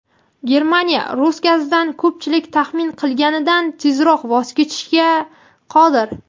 Germaniya rus gazidan ko‘pchilik taxmin qilganidan tezroq voz kechishga qodir.